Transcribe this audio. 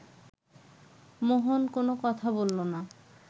মোহন কোনো কথা বলল না